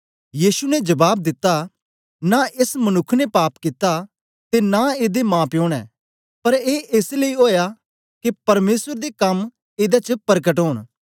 यीशु ने जबाब दिता नां एस मनुक्ख ने पाप कित्ता ते नां एदे माप्यो ने पर ए एस लेई ओया के परमेसर दे कम एदे च परकट ओन